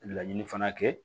Laɲini fana kɛ